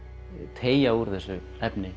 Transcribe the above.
teygja úr þessu efni